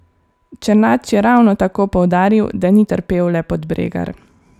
Černač je ravno tako poudaril, da ni trpel le Podbregar.